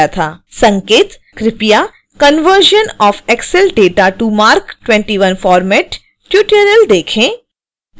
संकेत:कृपया conversion of excel data to marc 21 format tutorial देखें